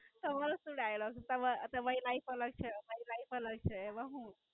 તમારો શું Dialogue તમ તમારી Life અલગ છે અમારી Life અલગ છે એમાં હુ.